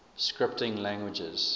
scripting languages